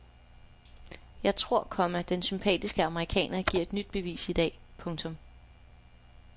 Jeg tror, komma den sympatiske amerikaner giver et nyt bevis i dag. punktum